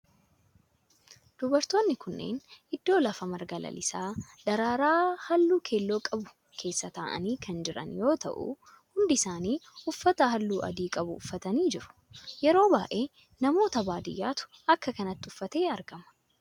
Dubartoonni kunneen iddoo lafa marga lalisaa, daraara halluu keelloo qabu keessa ta'aanii kan jiran yoo ta'u hundi isaanii uffata halluu adii qabu uffatanii jiru. Yeroo baayyee namoota baadiyaatu akka kanatti uffatee Argama.